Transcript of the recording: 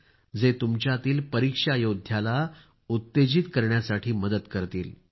जे तुम्हाला तुमच्यातील परीक्षा योद्धाला उत्तेजित करतील